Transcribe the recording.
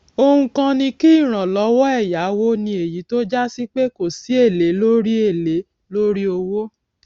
ohun kan ni kí ìrànlówó èyáwó ní èyí tó jásí pé kò sí èlé lórí èlé lórí owó